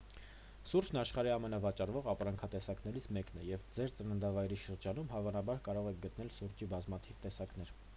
սուրճն աշխարհի ամենավաճառվող ապրանքատեսակներից մեկն է և ձեր ծննդավայրի շրջանում հավանաբար կարող եք գտնել սուրճի բազմաթիվ տեսակներ